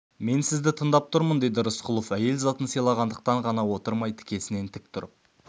мен сізді тыңдап тұрмын деді рысқұлов әйел затын сыйлағандықтан ғана отырмай тікесінен тік тұрып